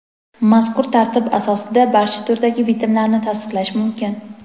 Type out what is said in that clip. mazkur tartib asosida barcha turdagi bitimlarni tasdiqlash mumkin.